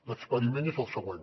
l’experiment és el següent